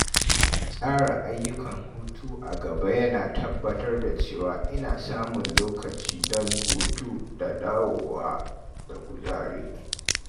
Tsara ayyukan hutu a gaba yana tabbatar da cewa ina samun lokaci don hutu da dawowa da kuzari.